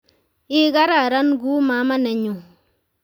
Igararan ku mama nenyu